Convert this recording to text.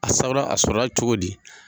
A sawura a sɔrɔ la cogo di?